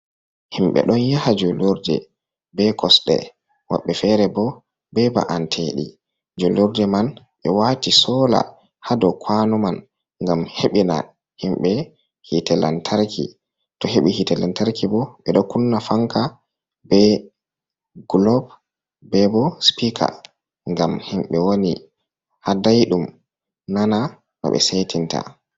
Himɓe ɗon yaha jullurde be kosɗe, woɓɓe feere bo be ba’anteeɗi. Jullurde man ɓe waati soola haa dow kuwano man, ngam heɓina himɓe yiite lantarki, to heɓi yiite lantarki bo, ɓe ɗo kunna fanka, be gulob, be bo sipiika, ngam himɓe woni haa dayɗum, nana no ɓe seetinta.